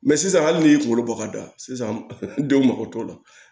Mɛ sisan hali n'i y'i kunkolo bɔ ka da sisan denw mako t'o la